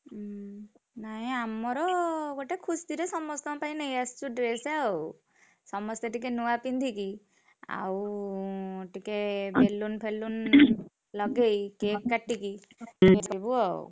ହୁଁ ନାଇଁ ଆମର ଗୋଟେ ଖୁସିରେ ସମସ୍ତଙ୍କ ପାଇଁ ନେଇଆସିଛୁ dress ଆଉ, ସମସ୍ତେ ଟିକେ ନୂଆ ପିନ୍ଧିକି ଆଉ ଟିକେ balloon ଫେଲୁନ ଲଗେଇ cake କାଟିକି କରିବୁ ଆଉ।